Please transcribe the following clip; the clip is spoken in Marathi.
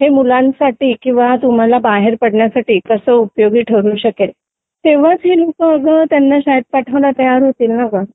हे मुलांसाठी किंवा तुम्हाला बाहेर पडण्यासाठी कसे उपयोगी ठरू शकेल तेव्हाच हे लोक आग त्यांना शाळेत पाठवायला तयार होतील ना ग